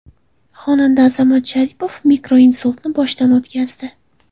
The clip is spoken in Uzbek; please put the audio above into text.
Xonanda Azamat Sharipov mikroinsultni boshdan o‘tkazdi.